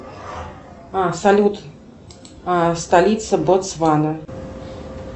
салют столица ботсвана